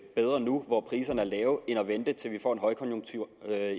bedre nu hvor priserne er lave end at vente til vi får en højkonjunktur